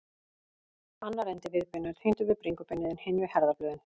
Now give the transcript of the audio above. Annar endi viðbeina er tengdur við bringubeinið en hinn við herðablöðin.